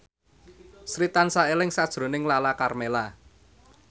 Sri tansah eling sakjroning Lala Karmela